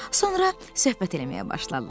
Sonra söhbət eləməyə başladılar.